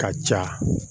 Ka ja